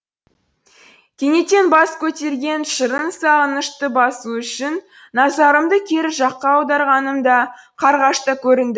кенеттен бас көтерген шырын сағынышты басу үшін назарымды кері жаққа аударғанымда қарғаш та көрінді